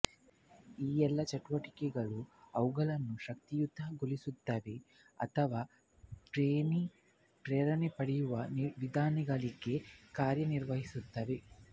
ಈ ಎಲ್ಲಾ ಚಟುವಟಿಕೆಗಳು ಅವುಗಳನ್ನು ಶಕ್ತಿಯುತಗೊಳಿಸುತ್ತವೆ ಅಥವಾ ಪ್ರೇರಣೆ ಪಡೆಯುವ ವಿಧಾನಗಳಾಗಿ ಕಾರ್ಯನಿರ್ವಹಿಸುತ್ತವೆ